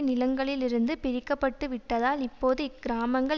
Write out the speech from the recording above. நிலங்களிலிருந்து பிரிக்கப்பட்டுவிட்டதால் இப்போது இக்கிராமங்கள்